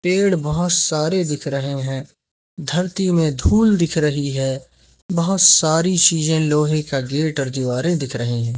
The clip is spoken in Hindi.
पेड़ बहोत सारे दिख रहे हैं धरती में धूल दिख रही है बहोत सारी चीजे लोहे का गेट और दीवारें दिख रहे हैं।